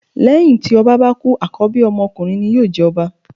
Lẹ́hìn tí ọba bá kú àkọ́bí ọmọ ọkunrin ni yóò jẹ ọba.